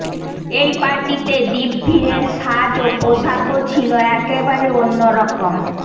এই পার্টিতে দীপভীরের সাজ ও পোশাকও ছিল একেবারে অন্যরকম